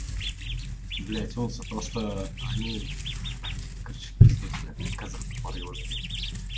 блядь вот за то что они короче в пизду тебя казах тупорылый блядь